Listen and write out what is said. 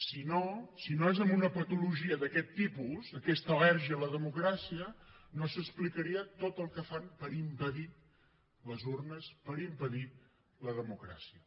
si no si no és amb una patologia d’aquest tipus aquesta al·lèrgia a la democràcia no s’explicaria tot el que fan per impedir les urnes per impedir la democràcia